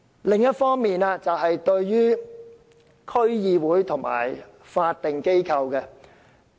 另外，代理主席，我想說說區議會和法定機構。